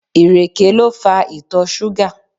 Ìrèké lè fa ìtọ̀ ṣúgà.